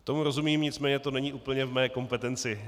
Tomu rozumím, nicméně to není úplně v mé kompetenci.